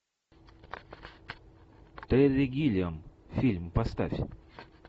терри гиллиам фильм поставь